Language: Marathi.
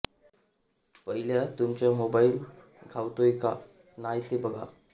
पह्यला तुमचा मोबायील घावतोय का नाय ते पगा